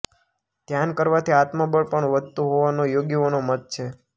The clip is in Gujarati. ધ્યાન કરવાથી આત્મબળ પણ વધતું હોવાનો યોગીઓનો મત છે